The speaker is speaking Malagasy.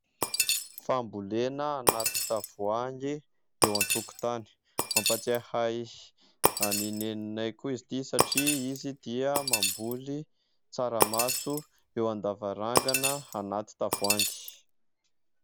Fambolena anaty tavoahangy eo an-tokotany, mampatsiahy ahy an'i Neninay koa izy ity satria izy dia mamboly tsaramaso eo an-davarangana anaty tavoahangy.